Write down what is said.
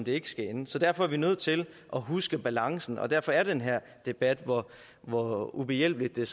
ikke skal ende så derfor er vi nødt til at huske på balancen og derfor er den her debat hvor ubehjælpeligt det